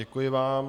Děkuji vám.